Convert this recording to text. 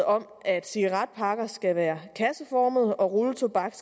om at cigaretpakker skal være kasseformede og rulletobak